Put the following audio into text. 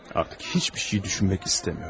Artıq heç bir şey düşünmək istəmirəm.